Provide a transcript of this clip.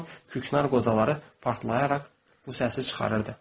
Yanan küknar qocaları partlayaraq bu səsi çıxarırdı.